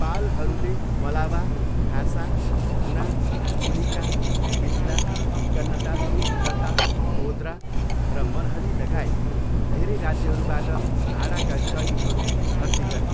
पालहरूले मलावा, खासा, हुना, कुलिका, मिथिला, कन्रटा, लता, ओद्रा र मनहली लगायत धेरै राज्यहरूबाट भाडाका सैनिकहरू भर्ती गरे।